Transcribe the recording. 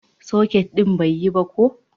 soket din bai yi ba ko